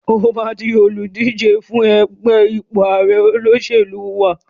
O máa di olùdíje fún ipò ààre fún ẹgbẹ́ òṣẹ̀lú wa.